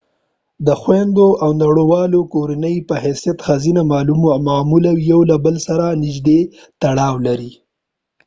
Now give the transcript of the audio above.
د خویندو او لونړو لوی کورنۍ په حيثيت ښځینه معمولا یو له بل سره نږدې تړاو لري